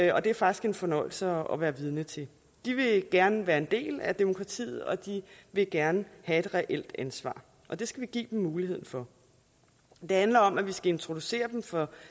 og det er faktisk en fornøjelse at være vidne til de vil gerne være en del af demokratiet og de vil gerne have et reelt ansvar og det skal vi give dem muligheden for det handler om at vi skal introducere dem for